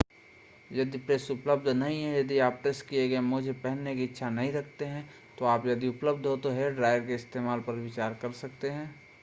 यदि प्रेस उपलब्ध नहीं है या यदि आप प्रेस किए गए मोजे पहनने की इच्छा नहीं रखते हैं तो आप यदि उपलब्ध हो तो हेयरड्रायर के इस्तेमाल पर विचार कर सकते हैं